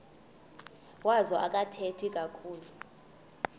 wazo akathethi kakhulu